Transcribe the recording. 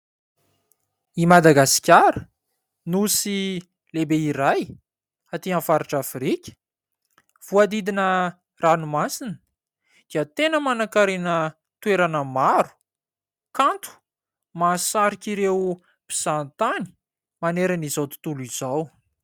I Madasahikara: Nosy lehibe iray aty amin'ny faritra Afrika voadidina ranomasina dia tena manakarena toerana maro, kanto mahasaritra ireo mpizaha tany manerana izao tontolo izao.